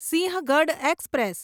Sinhagad express